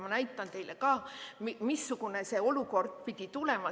Ma näitan teile ka, missugune see olukord pidi tulema.